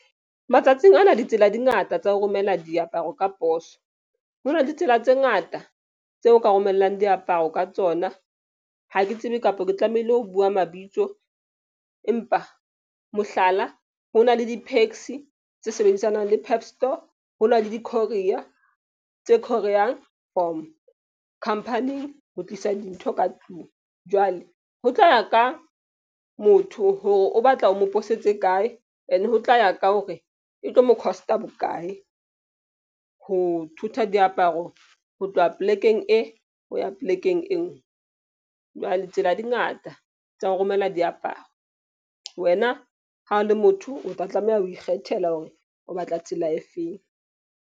Matsatsing ana ditsela di ngata tsa ho romela diaparo ka poso. Ho na le ditsela tse ngata tseo ka romellang diaparo ka tsona. Ha ke tsebe kapa ke tlamehile ho bua mabitso. Empa mohlala, ho na le di-PAXI tse sebedisanang le PEP store. Ho na le di-courier tse courier-yang from khampani ho tlisa dintho ka tlung. Jwale ho tla ya ka motho hore o batla o mo posetse kae, and ho tla ya ka hore e tlo mo cost-a bokae. Ho thotha diaparo ho tloha plek-eng e ho ya plek-eng enngwe. Jwale tsela di ngata tsa ho romela diaparo. Wena ha o le motho, o tla tlameha ho ikgethela hore o batla tsela efeng.